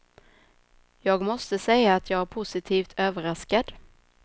Jag måste säga att jag är positivt överraskad.